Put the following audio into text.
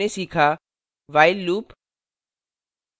इस tutorial में हमने सीखा